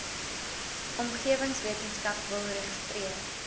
omgewingswetenskap wil registreer